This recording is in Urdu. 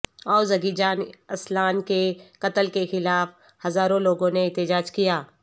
اوزگیجان اسلان کے قتل کے خلاف ہزاروں لوگوں نے احتجاج کیا